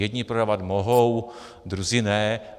Jedni prodávat mohou, druzí ne.